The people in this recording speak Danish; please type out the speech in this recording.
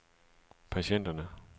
patienterne